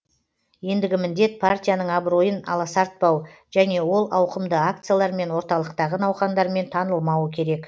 ендігі міндет партияның абыройын аласартпау және ол ауқымды акциялар мен орталықтағы науқандармен танылмауы керек